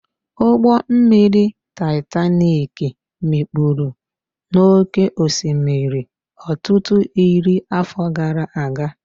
Ụgbọ mmiri Titanik mikpuru n'oké osimiri ọtụtụ iri afọ gara aga